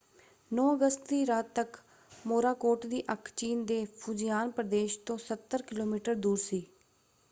9 ਅਗਸਤ ਦੀ ਰਾਤ ਤੱਕ ਮੋਰਾਕੋਟ ਦੀ ਅੱਖ ਚੀਨ ਦੇ ਫੂਜ਼ੀਆਨ ਪ੍ਰਦੇਸ਼ ਤੋਂ ਸੱਤਰ ਕਿਲੋਮੀਟਰ ਦੂਰ ਸੀ।